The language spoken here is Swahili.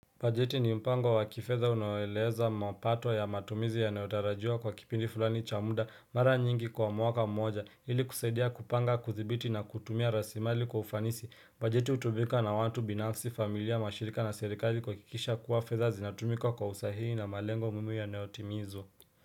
Bajeti ni mpango wa kifetha unoeleza mapato ya matumizi yanao tarajiwa kwa kipindi fulani cha muda mara nyingi kwa mwaka mmoja ili kusaidia kupanga kuthibiti na kutumia rasimali kwa ufanisi bajeti utumika na watu binafsi familia mashirika na serikali kuwakikisha kuwa fedha zinatumika kwa usahihi na malengo muhimu yanayotimizwa.